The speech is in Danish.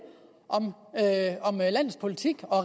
om landets politik og